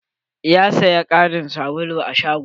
Ya saya ƙarin sabulu a shagon.